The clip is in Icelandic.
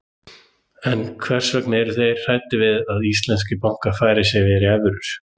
En hvers vegna eru þeir hræddir við að íslenskir bankar færi sig yfir í evrur?